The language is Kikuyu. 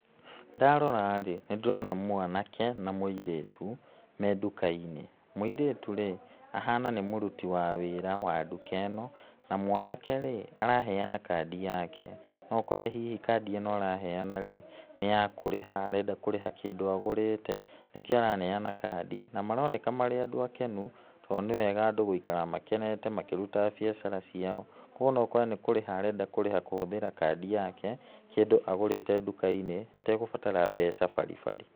Ndarora-rĩ, nĩ ndĩrona mwanake na mũirĩtu me nduka-inĩ. Mũirĩtu rĩ, ahana nĩ mũruti wa wĩra wa nduka ĩno na mwanake-rĩ araheana kandi yake no ũkore hihi kandi ĩno araheana-rĩ nĩ ya kũrĩha arenda kũrĩha kĩndũ agũrĩte nĩkĩo araneana kandi na maroneka marĩ andũ akenu to nĩwega andũ gũikara makenete makĩrutaga biacara ciao kwa ũguo no ũkore nĩkũrĩha arenda kũrĩha kũhũthĩra kandi yake kĩndũ agũrĩte nduka-inĩ ategũbatara mbeca baribari.